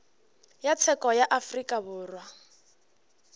ya tsheko ya afrika borwa